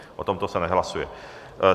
O tomto se nehlasuje.